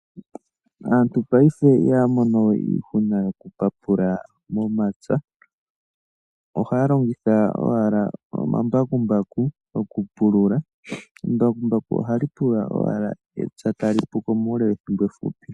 Aantu paife ihaya mono we iihuna yoku papula momapya, ohaya longitha owala omambakumbaku okupulula. Embakumbaku ohali pulula owala epya tali puko muule wethimbo efupi.